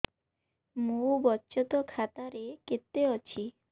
ମୋ ବଚତ ଖାତା ରେ କେତେ ଅଛି